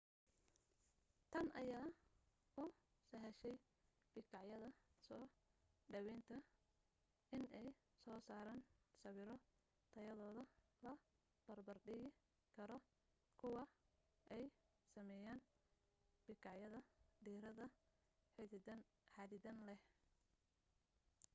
tan ayaa u sahashay bikaacyada soo dhawaynta inay soo saaraan sawiro tayadooda la barbar dhigi karo kuwa ay sameeyaan bikaacyada diiradda xaddidan leh